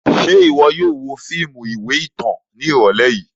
Ṣe iwọ yóò wo fiimu iwe itan náa ni irọlẹ yii?